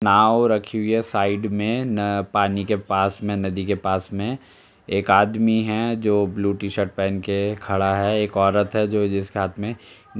नाव रखी हुई है साइड में न पानी के पास में नदी के पास में एक अदमी है जो ब्लू टी शर्ट पहन के खड़ा है | एक औरत है जो जिसके हाथ में --